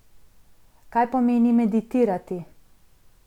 Kaj pomeni meditirati?